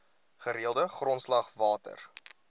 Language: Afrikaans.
gereelde grondslag water